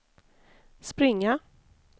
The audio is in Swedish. springa